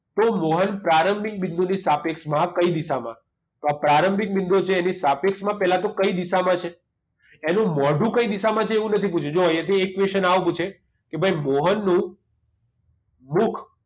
તો મોહન પ્રારંભિક બિંદુ ની સાપેક્ષમાં કઈ દિશામાં હશે તો આ પ્રારંભિક બિંદુ છે એની સાપેક્ષમાં પહેલા તો કઈ દિશામાં છે એનું મોઢું કઈ દિશામાં છે એવું નથી પુછ્યું જુવો અહીંયા થી એક question આવો પૂછે કે ભાઈ મોહનનું મુખ